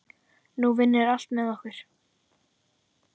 Nú vinnur allt með okkur.